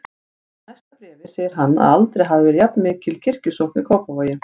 Og í næsta bréfi segir hann að aldrei hafi verið jafnmikil kirkjusókn í Kópavogi.